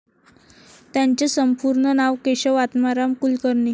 त्यांचे संपूर्ण नाव केशव आत्माराम कुलकर्णी.